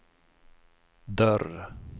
dörr